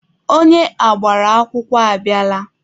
Onye agbara akwụkwọ abịala.